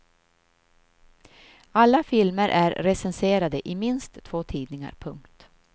Alla filmer är recenserade i minst två tidningar. punkt